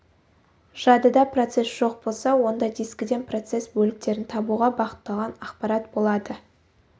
жадыда процесс жоқ болса онда дискіден процесс бөліктерін табуға бағытталған ақпарат болады